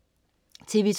TV2: